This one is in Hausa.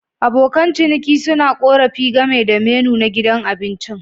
Abokan ciniki suna korafi game da menu na gidan abincin.